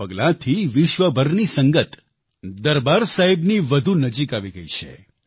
આ પગલાંથી વિશ્વભરની સંગત દરબાર સાહિબની વધુ નજીક આવી ગઈ છે